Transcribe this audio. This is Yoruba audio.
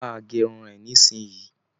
Bà a ge irun rẹ nisinyii!